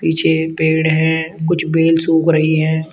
पीछे एक पेड़ है कुछ बेल सूख रही हैं।